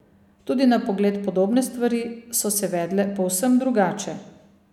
Tudi na pogled podobne stvari so se vedle povsem drugače.